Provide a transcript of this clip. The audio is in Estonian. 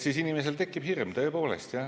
Siis inimesel tekib hirm, tõepoolest.